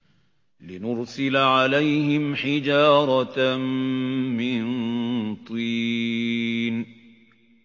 لِنُرْسِلَ عَلَيْهِمْ حِجَارَةً مِّن طِينٍ